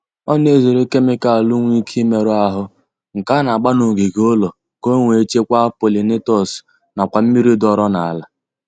Ọ na-ezere kemikalu nwe ike imerụ ahụ nke a na-agba n'ogige ụlọ ka o wee chekwaa polinatọs nakwazi mmiri dọọrọ n'ala